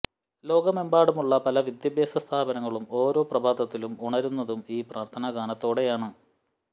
ലോകമെമ്പാടുമുള്ള പല വിദ്യാഭ്യാസ സ്ഥാപനങ്ങളും ഓരോ പ്രഭാതത്തിലും ഉണരുന്നതും ഈ പ്രാര്ത്ഥനാഗാനത്തോടെയാണ്